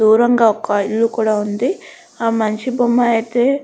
దూరంగా ఒక ఇల్లు కూడా ఉంది ఆ మనిషి బొమ్మ అయితే --